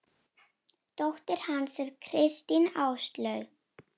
Dóttir hans er Kristín Áslaug.